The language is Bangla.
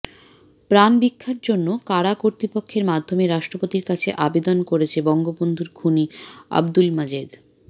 প্রাণভিক্ষার জন্য কারা কর্তৃপক্ষের মাধ্যমে রাষ্ট্রপতির কাছে আবেদন করেছে বঙ্গবন্ধুর খুনি আবদুুল মাজেদ